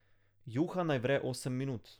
Juha naj vre osem minut.